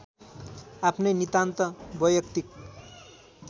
आफ्नै नितान्त वैयक्तिक